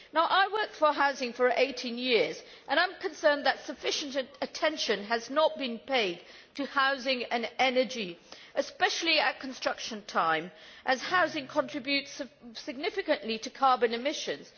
I worked in housing for 18 years and I am concerned that sufficient attention has not been paid to housing and energy, especially at construction time, as housing contributes significantly to carbon emissions.